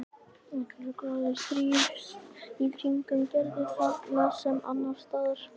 Allur gróður þrífst í kringum Gerði þarna sem annars staðar.